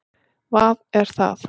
vað er það?